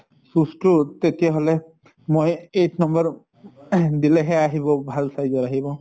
shoes তো তেতিয়া হʼলে মই eight number ing দিলেহে আহিব, ভাল size ৰ আহিব।